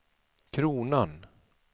kronan